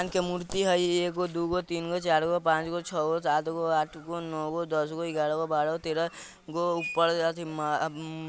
के मूर्ति हय एगो दू गो तीन गो चार गो पांच गो छ गो सात गो आठ गो नौ गो दस गो ग्यारह गो बारह गो तेरह गो ऊपर अथी मा-मु --